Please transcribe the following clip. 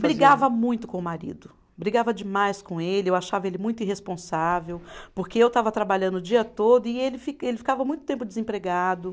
Brigava muito com o marido, brigava demais com ele, eu achava ele muito irresponsável, porque eu estava trabalhando o dia todo e ele fi, ele ficava muito tempo desempregado.